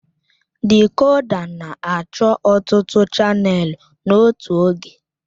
Dịkòdà na-achọ ọtụtụ chanèlụ n'otu oge